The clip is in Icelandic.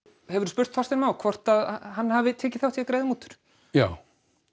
hefurðu spurt Þorstein Má hvort að hann hafi tekið þátt í að greiða mútur já